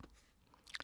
DR2